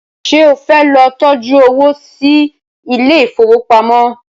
ṣe o fẹ ló tọjú owo sí Ilé ìfowópamọ́?